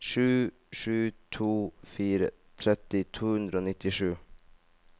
sju sju to fire tretti to hundre og nittisju